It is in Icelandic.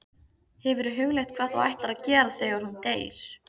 Hefurðu hugleitt hvað þú ætlar að gera þegar hún deyr?